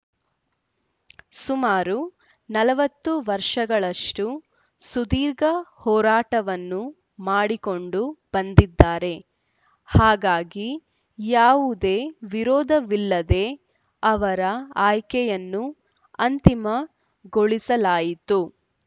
ಸುಮಾರು ನಲವತ್ತು ವರ್ಷಗಳಷ್ಟುಸುದೀರ್ಘ ಹೋರಾಟವನ್ನು ಮಾಡಿಕೊಂಡು ಬಂದಿದ್ದಾರೆ ಹಾಗಾಗಿ ಯಾವುದೇ ವಿರೋಧವಿಲ್ಲದೇ ಅವರ ಆಯ್ಕೆಯನ್ನು ಅಂತಿಮಗೊಳಿಸಲಾಯಿತು